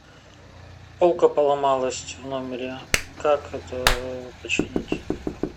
полка поломалась в номере как это починить